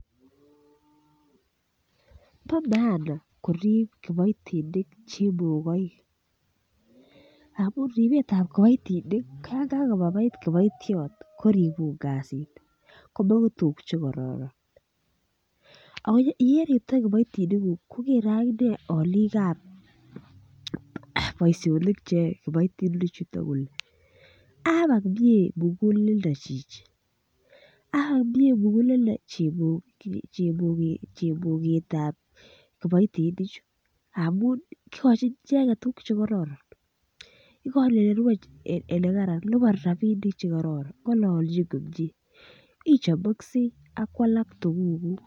Bo maana korib kiboitinik chemogoik amun ribetab kiboitinik ko yon kagobaibait kiboitiot koribun kasit komongu tuguk Che kororon ak Ole iriptoi kiboitiniguk kogere aginee alikab boisionik Che yoe kiboitinichu kole abak mie muguleldo chichi abak mie muguleldo chemoget ab kiboitinichu amun igochin icheget tuguk Che kororon igochin Ole rue Ole Kararan liponi rabinik Che kororon ngololchin komie ichomoksei ak ko alak tugukuk